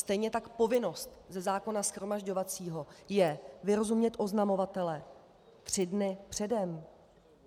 Stejně tak povinností ze zákona shromažďovacího je vyrozumět oznamovatele tři dny předem.